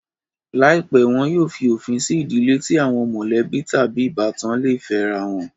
Láìpẹ́, wọn yóò fí òfin sí ìdílé tí àwọn mọ̀lẹ́bí tàbí ìbátan le fẹ́rá wọn